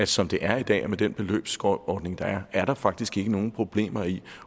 som det er i dag og med den beløbsordning der er er der faktisk ikke nogen problemer i